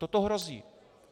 Toto hrozí.